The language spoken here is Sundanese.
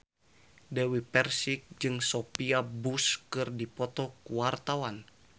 Dewi Persik jeung Sophia Bush keur dipoto ku wartawan